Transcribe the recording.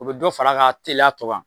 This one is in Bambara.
O bɛ dɔ fara a ka teliya tɔ kan